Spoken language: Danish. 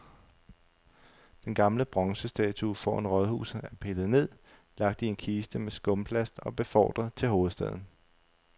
Den gamle bronzestatue foran rådhuset er pillet ned, lagt i en kiste med skumplast og befordret til hovedstaden.